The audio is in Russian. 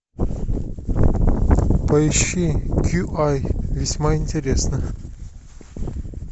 поищи кьюай весьма интересно